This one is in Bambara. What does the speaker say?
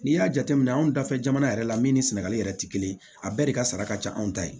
N'i y'a jateminɛ anw dafɛ jamana yɛrɛ la min ni sɛnɛgali yɛrɛ tɛ kelen ye a bɛɛ de ka sara ka ca anw ta ye